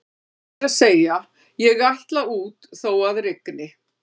Rétt er að segja: ég ætla út þó að rigni